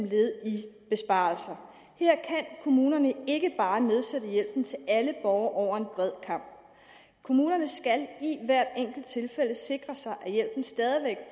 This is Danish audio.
led i besparelser her kan kommunerne ikke bare nedsætte hjælpen til alle borgere over en bred kam kommunerne skal i hvert enkelt tilfælde sikre sig at hjælpen stadig